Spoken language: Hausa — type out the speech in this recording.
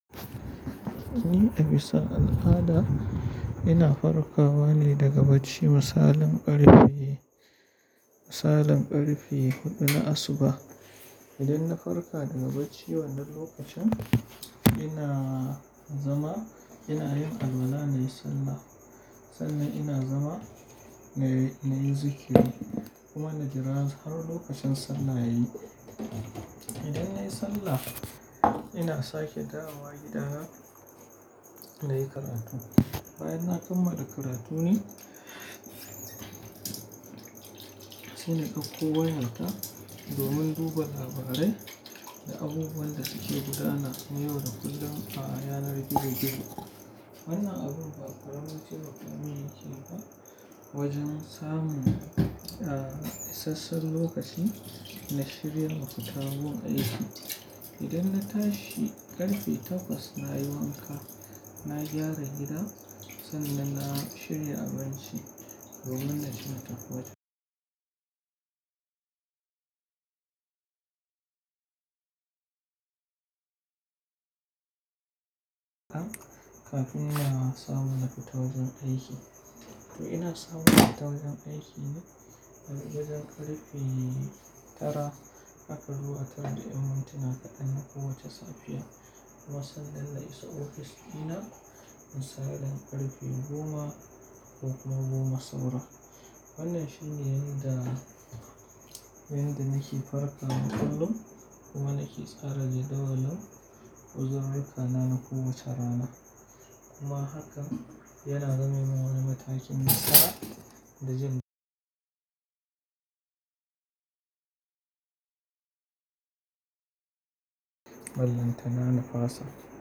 Ni a bisa al'ada ina farkawa ne daga bacci misalin ƙarfe, misalin ƙarfe huɗu na asuba. Idan na farka daga bacci wannan lokacin ina zama, ina yin alwala na yi sallah. Sannan ina zama na yi zikiri kuma na jira har lokacin sallah yayi. Idan nayi sallah ina sake dawowa gida na yi karatu. Bayan na kammala karatu ne, saina ɗakko wayarta domin duba labarai da abubuwan da suke gudana yau da kullum a yanar gizo gizo. Wannan abun ba ƙaramin ce ba ka mun yi shi ba wajen samun, ah, isasshen lokaci na shirya mafita wurin aiki. Idan na tashi ƙarfe takwas na yi wanka, na gyara gida sannan na shirya abinci domin na ceta ƙwaɗago. Kafin na samu na fita wajen aiki. To ina samu fita wajen aiki ne daga ƙarfe tara haka zuwa tara da ƴan mintina na kowacce safiya kuma sanda na isa ofis ina in saidan ƙarfe goma ko kuma goma saura. Wannan shine yanda, yanda nake farkawa kullum kuma nake tsara ji dawan uzurir rikana na kowace rana. Kuma hakan yana zamemim wani matakin nasara da zai ballantana na fasa.